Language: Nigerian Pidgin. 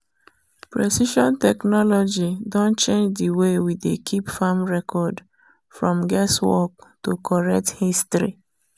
precision technology don change the way we dey keep farm record from guesswork to correct history.